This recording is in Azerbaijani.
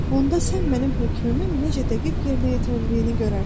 Onda sən mənim hökmümün necə dəqiq yerinə yetirildiyini görərsən.